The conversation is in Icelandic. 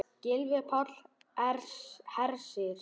Gylfi Páll Hersir.